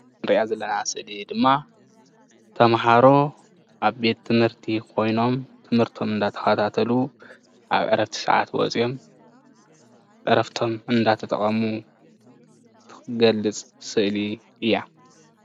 እዛ እንሪኣ ዘለና ስእሊ ድማ ተማሃሮ ኣብ ቤት ትምህርቲ ኮይኖም ትምህርቶም እንዳተከታተሉ ኣብ ዕረፍቲ ሰዓት ወፅዮም ዕረፍቶም እንዳተጠቀሙ ዝገልፅ ስእሊ እያ፡፡